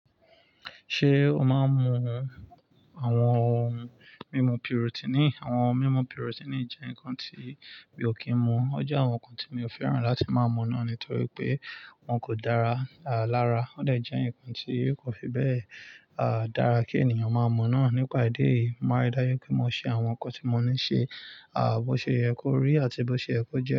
Ṣé o máa ń mu àwọn ohun mímu protein? Àwọn ohun mímu protein jẹ́ nǹkan tí mi ò kí ń mu. Ó jẹ́ àwọn nǹkan tí mi ò fẹ́ràn láti máa mu náà nítorí pé wọn kò dára lára. Ó de jẹ́ ǹkan tí kò fi bẹ́ẹ̀ dára kí ènìyàn máa mu náà. Nípa ìdí èyí, mo mári dá ju pé mo ṣe àwọn nǹkan tí mo ní ṣe, bó ṣe yẹ kó rí àti bó ṣe yẹ kó jẹ.